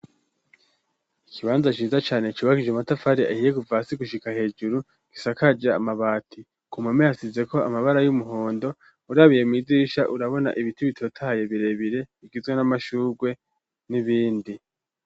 ikibanza ciza cane cubakije matafari ahiye kuva hasi gushika hejuru gisakaje amabati ku mame hasize ko amabara y'umuhondo urabiye mwidirisha urabona ibiti bitotahaye birebire bigizwe n'amashurwe n'ibindi.